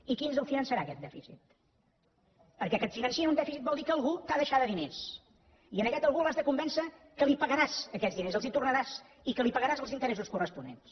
i qui ens el finançarà aquest dèficit perquè que et financin un dèficit vol dir que algú t’ha de deixar diners i a aquest algú l’has de convèncer que li pagaràs aquests diners els hi tornaràs i que li pagaràs els interessos corresponents